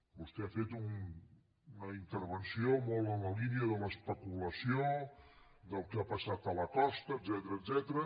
vostè ha fet una intervenció molt en la línia de l’especulació del que ha passat a la costa etcètera